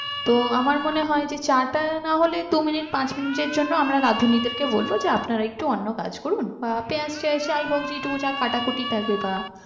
তো আমার মনে হয় যে চা টা না হলে দু মিনিট পাঁচ মিনিট এর জন্য আমরা রাধুনিদের কে বলব যে আপনারা একটু অন্য কাজ করুন বা পেঁয়াজ টেযাজ যাই হোক যেটুকু যা কাটাকুটি থাকবে বা